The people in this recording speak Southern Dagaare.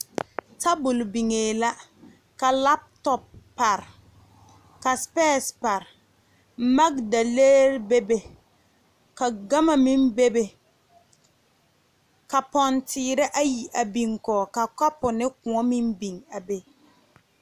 Tabol biŋe la ka lap top a pare ka sipeesi pare magdaleeri bebe ka gama meŋ bebe ka ponteere ayi a biŋ kɔŋ ka kapu ne kõɔ meŋ biŋ a be.